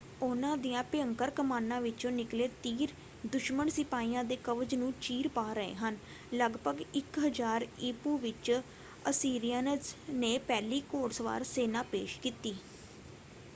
ਉਹਨਾਂ ਦੀਆਂ ਭਿਅੰਕਰ ਕਮਾਨਾਂ ਵਿੱਚੋਂ ਨਿਕਲੇ ਤੀਰ ਦੁਸ਼ਮਨ ਸਿਪਾਹੀਆਂ ਦੇ ਕਵਚ ਨੂੰ ਚੀਰ ਪਾ ਰਹੇ ਸਨ। ਲਗਭਗ 1000 ਈ.ਪੂ. ਵਿੱਚ ਅਸੀਰਿਅਨਜ਼ ਨੇ ਪਹਿਲੀ ਘੋੜਸਵਾਰ ਸੈਨਾ ਪੇਸ਼ ਕੀਤੀ।